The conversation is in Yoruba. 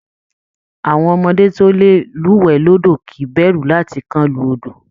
Àwọn ọmọdé tó lè lúwẹ̀ẹ́ lódò kìí bẹ̀rù láti kán lu odò